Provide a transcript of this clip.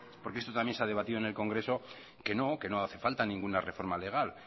porque esto ya se ha debatido en el congreso que no hace falta ninguna reforma legal